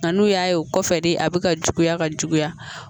Nka n'u y'a ye o kɔfɛ de a bɛ ka juguya ka juguya